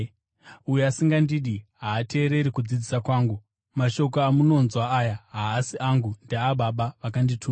Uyo asingandidi haateereri kudzidzisa kwangu. Mashoko amunonzwa aya haasi angu; ndeaBaba vakandituma.